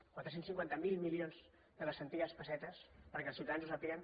quatre cents i cinquanta miler milions de les antigues pessetes perquè els ciutadans ho sàpiguen